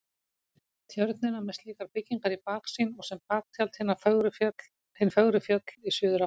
Tjörnina með slíkar byggingar í baksýn og sem baktjald hin fögru fjöll í suðurátt.